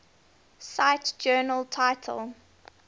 cite journal title